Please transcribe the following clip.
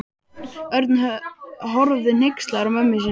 Örn horfði hneykslaður á mömmu sína.